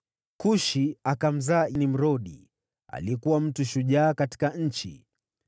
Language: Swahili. Kushi akamzaa Nimrodi, ambaye alikua akawa mtu shujaa katika nchi.